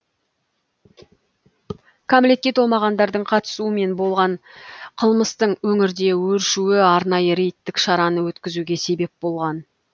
кәмелетке толмағандардың қатысуымен болған қылмыстың өңірде өршуі арнайы рейдтік шараны өткізуге себеп болған